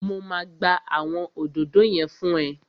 Mo máa gbá àwọn òdòdó yẹn fún ẹ